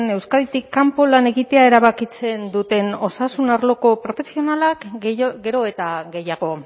euskaditik kanpo lan egitea erabakitzen duten osasun arloko profesionalak gero eta gehiago